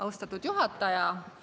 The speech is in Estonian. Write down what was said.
Austatud juhataja!